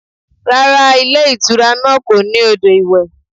Rárá, ilé ìtura náà kò ní odò iwe.